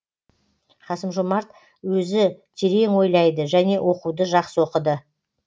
қасым жомарт өзі терең ойлайды және оқуды жақсы оқыды